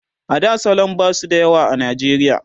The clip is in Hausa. a da salon ba su da yawa a najeriya